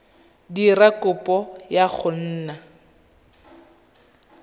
dira kopo ya go nna